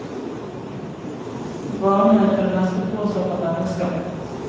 Brannene er for det meste påsatt av mennesker.